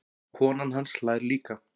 Konan hans hlær líka.